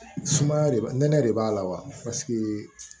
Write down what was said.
Sumaya de b'a nɛnɛ de b'a la wa paseke